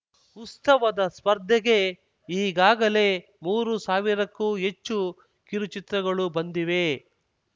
ಉತ್ಸವದ ಸ್ಪರ್ಧೆಗೆ ಈಗಾಗಲೇ ಮೂರು ಸಾವಿರಕ್ಕೂ ಹೆಚ್ಚು ಕಿರುಚಿತ್ರಗಳು ಬಂದಿವೆ